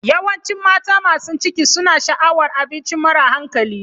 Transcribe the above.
Yawancin mata masu ciki suna sha'awar abinci mara hankali.